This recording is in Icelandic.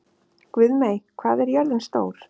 Guðmey, hvað er jörðin stór?